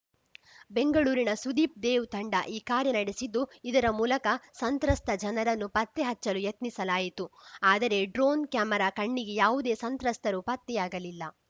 ಬೆಂಗಳೂರಿನ ಸುದೀಪ್‌ ದೇವ್‌ ತಂಡ ಈ ಕಾರ್ಯ ನಡೆಸಿದ್ದು ಇದರ ಮೂಲಕ ಸಂತ್ರಸ್ತ ಜನರನ್ನು ಪತ್ತೆ ಹಚ್ಚಲು ಯತ್ನಿಸಲಾಯಿತು ಆದರೆ ಡ್ರೋನ್‌ ಕ್ಯಾಮೆರಾ ಕಣ್ಣಿಗೆ ಯಾವುದೇ ಸಂತ್ರಸ್ತರೂ ಪತ್ತೆಯಾಗಲಿಲ್ಲ